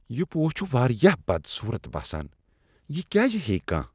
یہ پوش چھ واریاہ بدصورت باسان ۔ یہِ کیٛاز ہییہِ كانہہ؟